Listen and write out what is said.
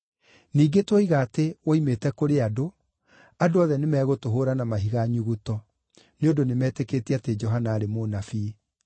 Ningĩ tuoiga atĩ ‘Woimĩte kũrĩ andũ’, andũ othe nĩmegũtũhũũra na mahiga nyuguto, nĩ ũndũ nĩmetĩkĩtie atĩ Johana aarĩ mũnabii.”